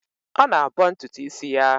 Ọ na-abọ ntụtụ isi ya.